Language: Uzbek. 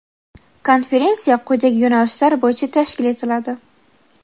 Konferensiya quyidagi yo‘nalishlar bo‘yicha tashkil etiladi:.